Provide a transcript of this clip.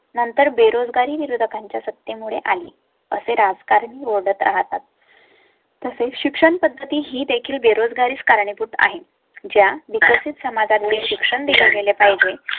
नंतर बेरोजगारी विरोधकांच्या सत्यामुळे आली, असे राजकारण रोड राहतात. तसे शिक्षण पद्धती ही देखील बेरोजगारीच कारणीभूत आहे, ज्या मध्ये समाधाना चे शिक्षण दिले गेले पाहिजे